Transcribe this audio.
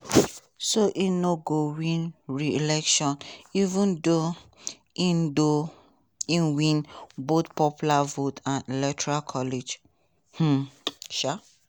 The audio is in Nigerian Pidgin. so e no go win re-election even though im though im win both popular vote and electoral college. um